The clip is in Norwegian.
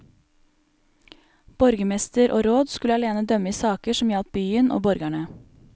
Borgermester og råd skulle alene dømme i saker som gjaldt byen og borgerne.